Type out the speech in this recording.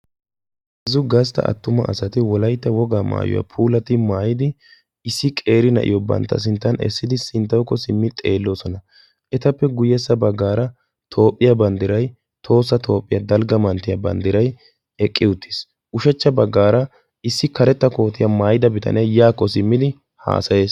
heezzu gastta attuma asati wolaytta wogaa maayuwaa puulati maayidi issi qeeri na'iyo bantta sinttan essidi sinttookko simmi xeelloosona etappe guyyessa baggaara toophphiyaa banddiray toossa toophphiyaa dalgga manttiyaa banddiray eqqi uttiis ushechcha baggaara issi karetta kootiyaa maayida bitanee yaakko simmidi haasayees